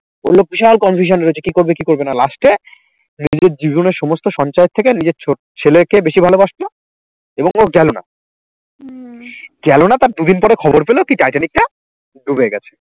ওই লোক বিশাল confusion এ রয়েছে কি করবে কি করবে না last এ নিজের জীবনের সমস্ত সঞ্চয় থেকে নিজের ছোট ছেলেকে বেশি ভালোবাসতো এবং ও গেলো না গেলো না, গেলো না তার দুদিন পরে খবর পেল কি টাইটানিক টা ডুবে গেছে